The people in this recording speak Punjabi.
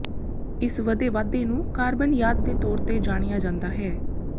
ਇਸ ਵਧੇ ਵਾਧੇ ਨੂੰ ਕਾਰਬਨ ਖਾਦ ਦੇ ਤੌਰ ਤੇ ਜਾਣਿਆ ਜਾਂਦਾ ਹੈ